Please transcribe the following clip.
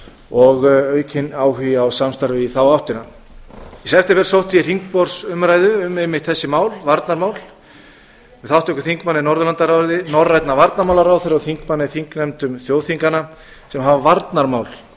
og aukinn áhugi á samstarfi í þá áttina í september sótti ég hringborðsumræðu um einmitt þessi mál varnarmál með þátttöku þingmanna í norðurlandaráði norrænna varnarmálaráðherra og þingmanna í þingnefndum þjóðþinganna sem hafa varnarmál á